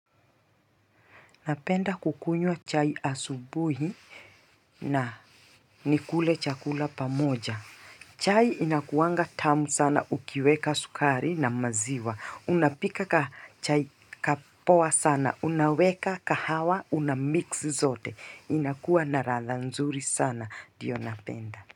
Napenda kukunywa chai asubuhi na nikule chakula pamoja. Chai inakuwanga tamu sana ukiweka sukari na maziwa. Unapika kachai kapoa sana, unaweka kahawa, unamix zote. Inakuwa na radha nzuri sana. Ndio napenda.